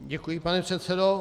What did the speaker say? Děkuji, pane předsedo.